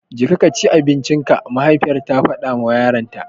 Jeka kaci abincinka! mahaifiyar ta faɗawa yaranta.